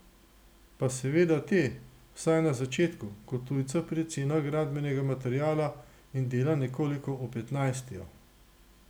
Pa seveda te, vsaj na začetku, kot tujca pri cenah gradbenega materiala in dela nekoliko opetnajstijo.